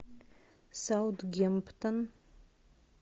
саутгемптон